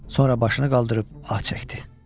Sonra başını qaldırıb ah çəkdi.